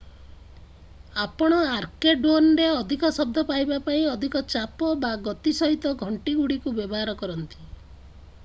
ଆପଣ ଆର୍କେଡୋନରେ ଅଧିକ ଶବ୍ଦ ପାଇବା ପାଇଁ ଅଧିକ ଚାପ ବା ଗତି ସହିତ ଘଣ୍ଟିଗୁଡ଼ିକୁ ବ୍ୟବହାର କରନ୍ତି